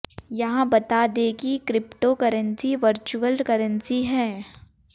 यहां बता दें कि क्रिप्टो करेंसी वर्चुअल करेंसी है